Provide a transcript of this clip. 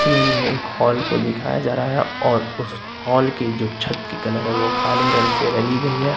Image मे एक hall को दिखाया जा रहा है और उस हाल की जो छत की कलर है वो काले रंग से रंगी गई है।